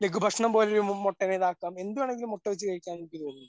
ലഘുഭക്ഷണം പോലൊരു മുട്ടനെ ഇതാകാം എന്തുവേണമെങ്കിലും മുട്ട വെച്ച് കഴിക്കാൻ എനിക്ക് തോന്നുന്നു.